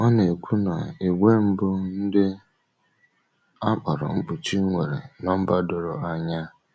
Ọ na-ekwu na ìgwè mbụ, “ndị a kpọrọ mkpuchi,” nwere nọmba doro anya.